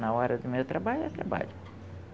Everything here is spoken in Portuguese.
Na hora do meu trabalho, é trabalho.